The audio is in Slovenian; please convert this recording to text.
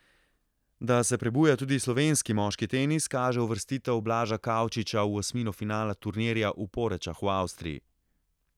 Da se prebuja tudi slovenski moški tenis, kaže uvrstitev Blaža Kavčiča v osmino finala turnirja v Porečah v Avstriji.